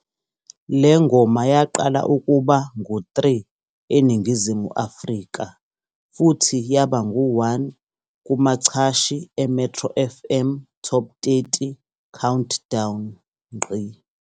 Le ngoma yaqala ukuba ngu-3 eNingizimu Afrika futhi yaba ngu-1 kumachashi e-Metro FM Top 30 Countdown.